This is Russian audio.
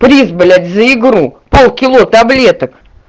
приз блять за игру полкило таблеток